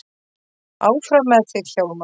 Áfram með þig, Hjálmar!